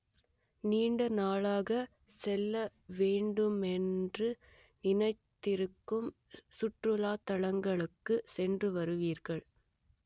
நீண்ட நாளாக செல்ல வேண்டுமென்று நினைத்திருக்கும் சுற்றுலா தலங்களுக்கு சென்று வருவீர்கள்